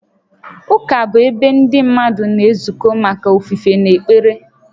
Ụka bụ ebe ndị mmadụ na-ezukọ maka ofufe na ekpere